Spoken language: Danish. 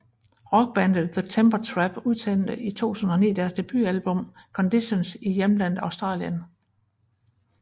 Rockbandet The Temper Trap udsendte i 2009 deres debutalbum Conditions i hjemlandet Australien